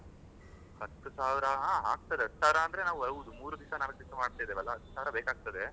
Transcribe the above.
ಹತ್ ಸಾವಿರ ಆಗ್ತಾದೆ ಹತ್ ಸಾವಿರ ಅಂದ್ರೆ ಹೌದು ಮೂರೂ ದಿವಸ ನಾಲ್ಕು ದಿವಸ ಮಾಡ್ತಾ ಇದೇವಾಲ ಹತ್ ಸಾವಿರ ಬೇಕಾಗ್ತಾದ್ದೆ.